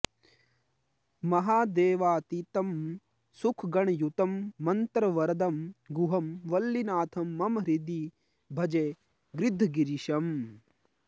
महादेवातीतं सुखगणयुतं मन्त्रवरदं गुहं वल्लीनाथं मम हृदि भजे गृद्धगिरिशम्